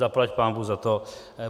Zaplať pánbůh za to.